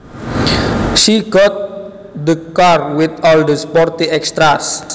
She got the car with all the sporty extras